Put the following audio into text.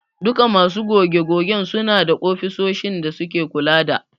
Duku masu goge-gogen suna da ofisoshin da suke kula da.